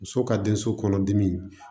Muso ka den so kɔnɔ dimi